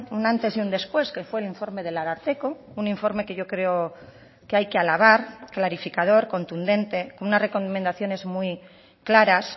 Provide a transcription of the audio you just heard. un antes y un después que fue el informe del ararteko un informe que yo creo que hay que alabar clarificador contundente con unas recomendaciones muy claras